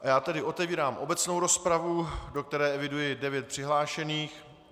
A já tedy otevírám obecnou rozpravu, do které eviduji devět přihlášených.